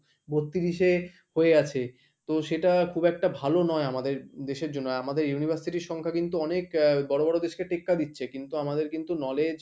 বত্রিশে হয়ে আছে তো সেটা খুব একটা ভালো নয় আমাদের দেশের জন্য আমাদের university র সংখ্যা কিন্তু অনেক আহ বড় বড় দেশকে টেক্কা দিচ্ছে কিন্তু আমাদের কিন্তু knowledge